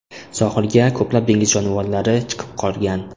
Sohilga ko‘plab dengiz jonivorlari chiqib qolgan.